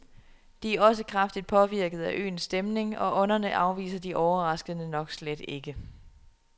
De er også kraftigt påvirkede af øens stemning, og ånderne afviser de overraskende nok slet ikke.